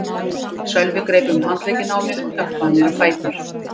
Sölvi greip um handlegginn á mér og hjálpaði mér á fætur.